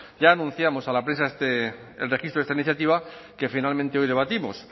ya anunciamos a la prensa el registro de esta iniciativa que finalmente hoy debatimos